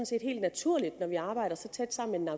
set helt naturligt når vi arbejder så tæt sammen med